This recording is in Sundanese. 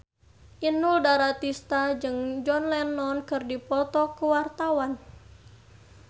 Inul Daratista jeung John Lennon keur dipoto ku wartawan